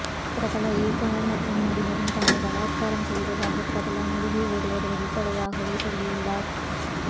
பிரபல இயக்குனர் மற்றும் நடிகரும் தன்னை பலாத்கராம் செய்ததாக பிரபல நடிகை ஒருவர் வெளிப்படையாகவே சொல்லி உள்ளார்